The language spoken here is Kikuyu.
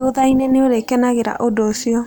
Thutha-inĩ nĩ ũrĩkenagĩra ũndũ ũcio.